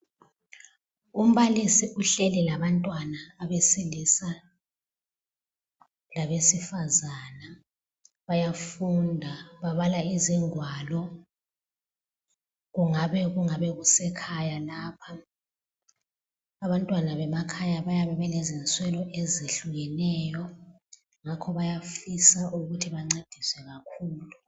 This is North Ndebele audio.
Umbalisi uhleli labantwana abesilisa labesifazana, bayafunda babala izingwalo kungabe kungabe kusekhaya lapha, abantwana bemakhaya bayabe bele zinswelo ezehlukenyo ngakho bayafisa ukuthi bencediswe kakhulu.